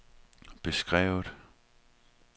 beskrevet